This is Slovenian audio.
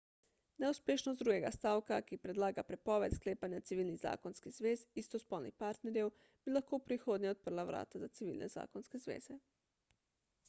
neuspešnost drugega stavka ki predlaga prepoved sklepanja civilnih zakonskih zvez istospolnih partnerjev bi lahko v prihodnje odprla vrata za civilne zakonske zveze